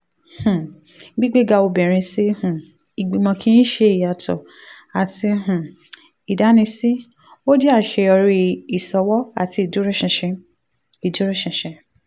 um gbígbéga obìnrin sí um ìgbìmọ̀ kì í ṣe ìyàtọ̀ àti um ìdánisí ó jẹ́ àṣeyọrí ìṣòwò àti ìdúróṣinṣin ìdúróṣinṣin.